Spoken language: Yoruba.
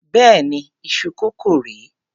Béèni iṣu kókò rè é.